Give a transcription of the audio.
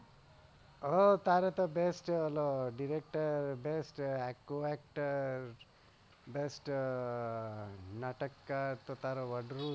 હા તારે તો best છે ઓલો director actor best નાટકકાર